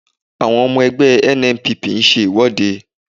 Àwọn ọmọ ẹgbẹ́ NNPP ń ṣe ìwọ́de